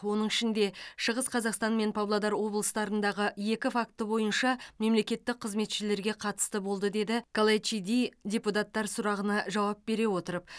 оның ішінде шығыс қазақстан мен павлодар облыстарындағы екі факті бойынша мемлекеттік қызметшілерге қатысты болды деді калайчиди депутаттар сұрағына жауап бере отырып